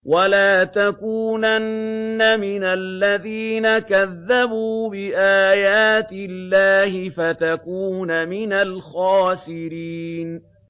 وَلَا تَكُونَنَّ مِنَ الَّذِينَ كَذَّبُوا بِآيَاتِ اللَّهِ فَتَكُونَ مِنَ الْخَاسِرِينَ